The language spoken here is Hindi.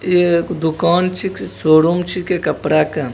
इ एक दुकान छीके सोरूम छीके कपड़ा के--